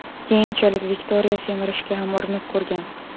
Keyinchalik, Viktoriya semirishga ham urinib ko‘rgan.